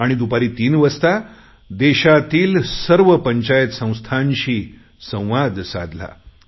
आणि दुपारी तीन वाजता देशभरातील सर्व पंचायत संस्थांशी संवाद साधला